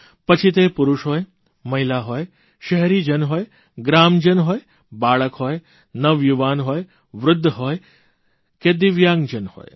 પછી તે પુરૂષ હોય મહિલા હોય શહેરીજન હોય ગ્રામજન હોય બાળક હોય નવયુવાન હોય વૃદ્ધ હોય કે દિવ્યાંગજન હોય